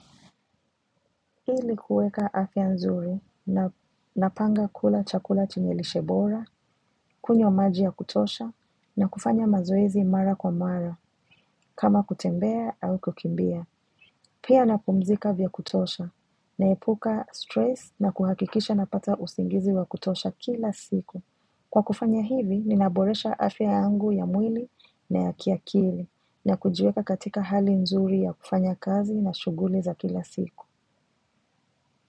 Ili kueka afya nzuri na napanga kula chakula chenye lishe bora, kunywa maji ya kutosha na kufanya mazoezi mara kwa mara kama kutembea au kukimbia. Pia napumzika vya kutosha naepuka stress na kuhakikisha napata usingizi wa kutosha kila siku. Kwa kufanya hivi, ninaboresha afya yangu ya mwili na ya kiakili na kujiweka katika hali nzuri ya kufanya kazi na shughuli za kila siku.